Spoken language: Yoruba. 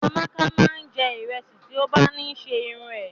Amaka máa n jẹ ìrẹsì ti o ba ni ṣe irun é.